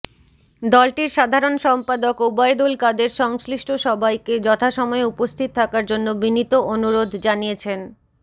দলটির সাধারণ সম্পাদক ওবায়দুল কাদের সংশ্লিষ্ট সবাইকে যথাসময়ে উপস্থিত থাকার জন্য বিনীত অনুরোধ জানিয়েছেন